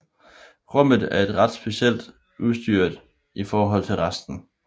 Rummet er ret simpelt udstyret i forhold til resten